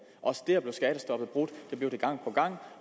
også der blev skattestoppet brudt det blev det gang på gang